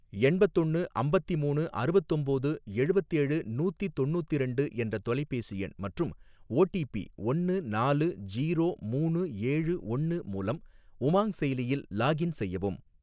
எண்பத்தொன்னு அம்பத்திமூணு அறுவத்தொம்போது எழுவத்தேழு நூத்தி தொண்ணூத்திரண்டு என்ற தொலைபேசி எண் மற்றும் ஓ டி பி ஒன்னு நாலு ஜீரோ மூணு ஏழு ஒன்னு மூலம் உமாங் செயலியில் லாக்இன் செய்யவும்.